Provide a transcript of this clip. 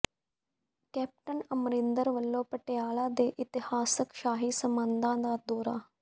captain Amarinder ਵਲੋਂ ਪਟਿਆਲਾ ਦੇ ਇਤਿਹਾਸਕ ਸ਼ਾਹੀ ਸਮਾਧਾਂ ਦਾ ਦੌਰਾ